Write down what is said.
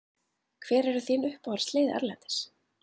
Hver eru þín uppáhaldslið erlendis?